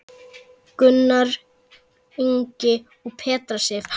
Gunnar Ingi og Petra Sif.